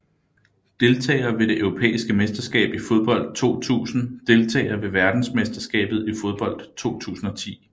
Deltagere ved det europæiske mesterskab i fodbold 2000 Deltagere ved verdensmesterskabet i fodbold 2010